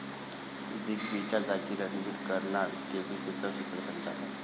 big बीच्या जागी रणबीर करणार केबीसीचं सूत्रसंचालन